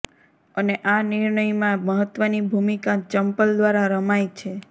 અને આ નિર્ણયમાં મહત્વની ભૂમિકા ચંપલ દ્વારા રમાય છે